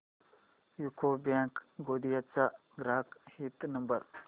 UCO bank Gondia चा ग्राहक हित नंबर